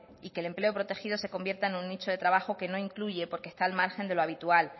y que el empleo protegido se convierta en un nicho de trabajo que no incluye porque está al margen de lo habitual